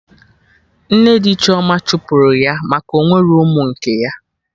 Nne di Chioma chụpụrụ ya aka Ọnwerọ ụmụ nke ya